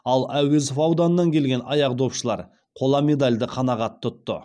ал әуезов ауданынан келген аяқдопшылар қола медальды қанағат тұтты